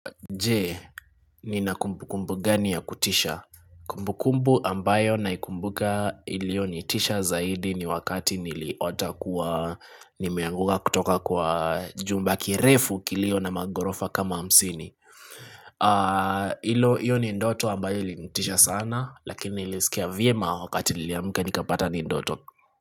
Je, nina kumbu kumbu gani ya kutisha Kumbu kumbu ambayo na ikumbuka ilio nitisha zaidi ni wakati niliota kuwa Nimeanguka kutoka kwa jumba kirefu kilio na magorofa kama hamsini Ilo, iyo ni ndoto ambayo ilinitisha sana Lakini nilisikia vye mawakati niliamka nikapata ni ndoto.